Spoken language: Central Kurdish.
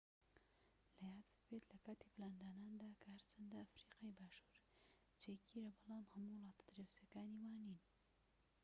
لەیادت بێت لەکاتی پلانداناندا کە هەرچەندە ئەفریقای باشوور جێگیرە بەڵام هەموو وڵاتە دراوسێکانی وانین